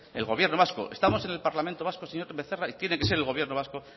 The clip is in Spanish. el gobierno vasco estamos en el parlamento vasco señor becerra y tiene que ser el gobierno vasco